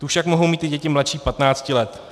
Tu však mohou mít i děti mladší 15 let.